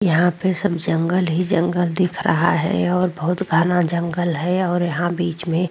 यहां पे सब जंगल ही जंगल दिख रहा है और बहुत घना जंगल है और यहां बीच में --